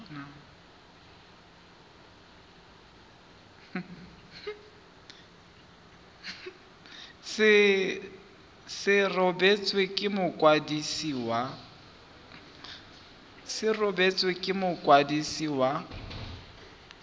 se rebotswe ke mokwadisi wa